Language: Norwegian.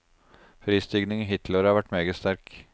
Prisstigningen hittil i år har vært meget sterk.